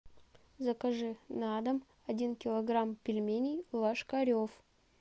закажи на дом один килограмм пельменей ложкарев